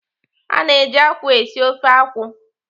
A na-eji akwụ esi ofe akwụ.